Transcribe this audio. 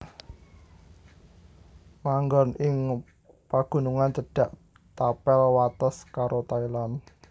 Manggon ing pagunungan cedhak tapel wates karo Thailand